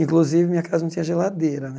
Inclusive, minha casa não tinha geladeira, né?